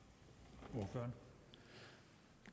når